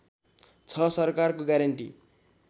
छ सरकारको ग्यारेन्टी